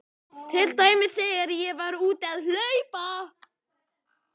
Til dæmis þegar ég var úti að hlaupa.